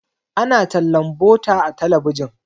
ana tallan butter a talabijin